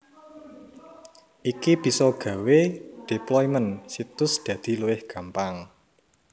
Iki bisa gawé deployment situs dadi luwih gampang